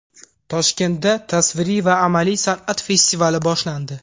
Toshkentda tasviriy va amaliy san’at festivali boshlandi.